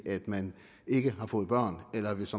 at man ikke har fået børn eller hvis